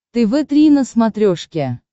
тв три на смотрешке